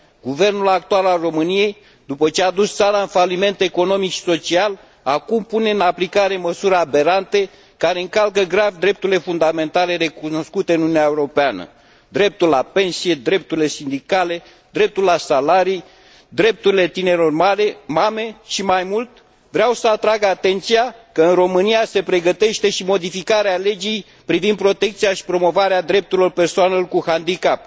Guvernul actual al României, după ce a dus țara în faliment economic și social, acum pune în aplicare măsuri aberante, care încalcă grav drepturile fundamentale recunoscute în Uniunea Europeană dreptul la pensie, drepturile sindicale, dreptul la salarii, drepturile tinerelor mame și, mai mult, vreau să atrag atenția că în România se pregătește și modificarea legii privind protecția și promovarea drepturilor persoanelor cu handicap.